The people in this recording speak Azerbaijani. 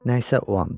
Nə isə o anda.